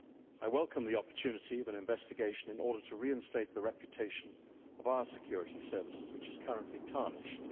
I welcome the opportunity of an investigation in order to reinstate the reputation of our security services, which is currently tarnished.